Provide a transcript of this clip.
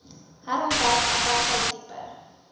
herontwerp apartheid tipe